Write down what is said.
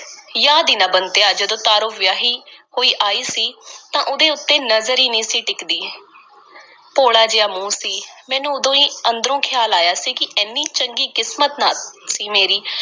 ਯਾਦ ਈ ਨਾ ਬੰਤਿਆ, ਜਦੋਂ ਤਾਰੋ ਵਿਆਹੀ ਹੋਈ ਆਈ ਸੀ ਤਾਂ ਉਹਦੇ ਉੱਤੇ ਨਜ਼ਰ ਈ ਨਹੀਂ ਸੀ ਟਿਕਦੀ। ਭੋਲਾ ਜਿਹਾ ਮੂੰਹ ਸੀ। ਮੈਨੂੰ ਉਦੋਂ ਈ ਅੰਦਰੋਂ ਖ਼ਿਆਲ ਆਇਆ ਸੀ ਕਿ ਐਨੀ ਚੰਗੀ ਕਿਸਮਤ ਨਾਂਹ ਸੀ ਮੇਰੀ।